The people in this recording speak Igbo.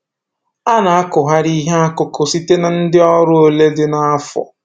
A na akụgharị ihe akụkụ site na ndị ọrụ ole dịnụ nafo